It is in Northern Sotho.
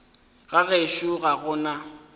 ga gešo ga go na